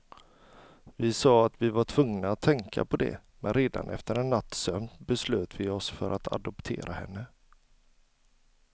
Vi sa att vi var tvungna att tänka på det, men redan efter en natts sömn beslöt vi oss för att adoptera henne.